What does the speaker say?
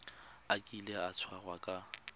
a kile a tshwarwa ka